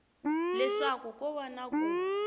leswaku ko va na ku